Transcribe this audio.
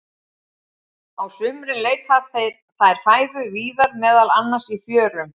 Á sumrin leita þær fæðu víðar, meðal annars í fjörum.